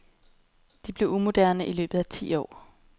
De blev umoderne i løbet af ti år.